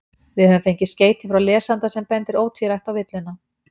Við höfum fengið skeyti frá lesanda sem bendir ótvírætt á villuna.